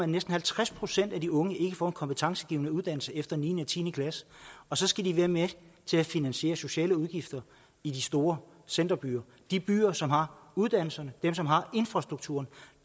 næsten halvtreds procent af de unge ikke får en kompetencegivende uddannelse efter niende og tiende klasse og så skal de være med til at finansiere sociale udgifter i de stor centerbyer de byer som har uddannelserne dem som har infrastrukturen